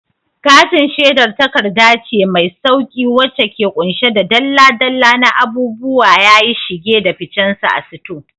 Katin shedar takarda ce mai sauƙi wacce ke ƙunshe da dalla-dalla na abubuwa yayi shige da ficensu a sito.